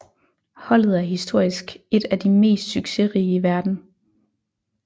Holdet er historisk et af de mest succesrige i verden